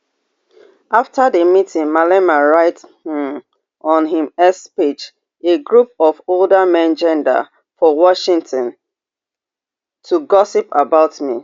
afta di meeting malema write um on im x page a group of older men gada for washington to gossip about me